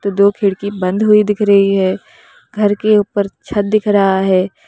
दो खिड़की बंद हुई दिख रही है घर के ऊपर छत दिख रहा है।